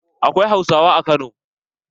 Akwai Hausawa a Kano.